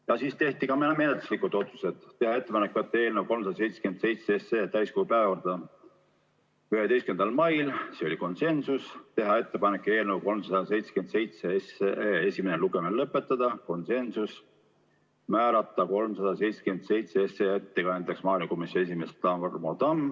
Ja siis tehti ka menetluslikud otsused: teha ettepanek võtta eelnõu 377 täiskogu päevakorda 11. maiks, teha ettepanek eelnõu 377 esimene lugemine lõpetada, määrata ettekandjaks maaelukomisjoni esimees Tarmo Tamm.